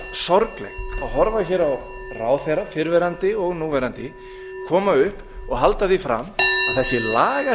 sorglegt að horfa á fyrrverandi og núverandi ráðherra koma upp og halda því fram að